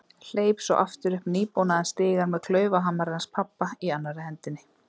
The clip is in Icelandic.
Hleyp svo aftur upp nýbónaðan stigann með klaufhamarinn hans pabba í annarri hendinni.